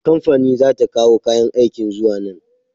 Kamfani za ta kawo kayan aikin zuwa nan.